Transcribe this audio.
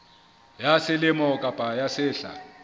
ya selemo kapa ya sehla